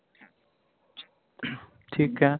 ਠੀਕ ਹੈ